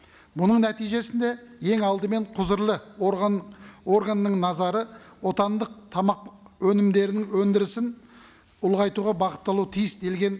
бұның нәтижесінде ең алдымен құзырлы орган органның назары отандық тамақ өнімдерінің өндірісін ұлғайтуға бағытталу тиіс делген